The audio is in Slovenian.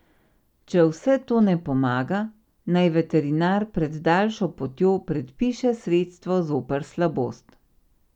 Če vse to ne pomaga, naj veterinar pred daljšo potjo predpiše sredstvo zoper slabost.